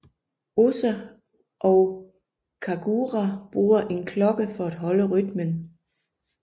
Osa og Kagura bruger en klokke for at holde rytmen